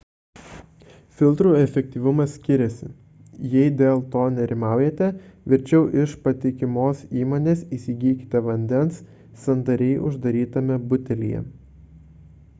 filtrų efektyvumas skiriasi jei dėl to nerimaujate verčiau iš patikimos įmonės įsigykite vandens sandariai uždarytame butelyje